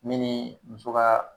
Min ni muso ka